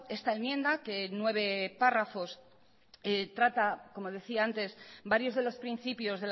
esta enmienda que nueve párrafos trata como decía antes varios de los principios